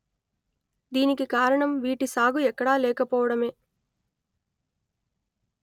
దీనికి కారణం వీటి సాగు ఎక్కడా లేకపోవడమే